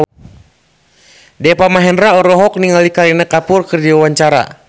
Deva Mahendra olohok ningali Kareena Kapoor keur diwawancara